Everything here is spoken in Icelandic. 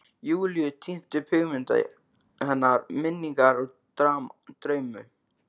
Júlíu, tínt upp hugmyndir hennar, minningar, drauma.